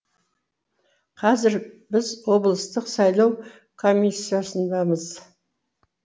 қазір біз облыстық сайлау комиссиясындамыз